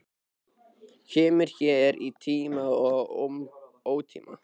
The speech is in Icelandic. Kemur hér í tíma og ótíma.